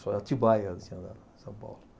Só em Atibaia eu tinha andado São Paulo.